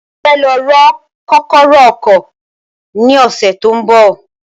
Mo fẹ́ lọ rọ kọ́kọ́rọ́ ọkọ̀ ni ọsẹ tó ń bọ